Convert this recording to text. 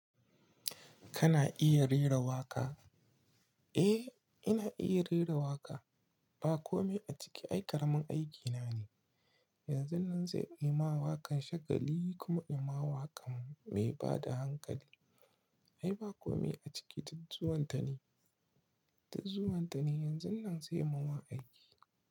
Kana iya rera waƙa? Eh, ina iya rera waƙa. Ba komai a ciki ai karamin aikina ne. Yanzun nan sai in yi ma waƙar shagali kuma in yi ma waƙar mai bada hankali. Ai ba komai a ciki, duk zuwan ta ne. Ta zuwan ta ne yanzun nan sai yi ma aiki.